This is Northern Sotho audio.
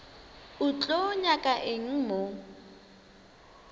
o tlo nyaka eng mo